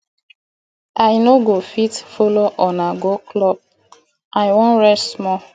i no go fit follow una go club i wan rest small